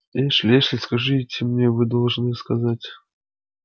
эшли эшли скажите мне вы должны сказать